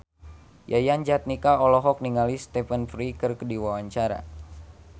Yayan Jatnika olohok ningali Stephen Fry keur diwawancara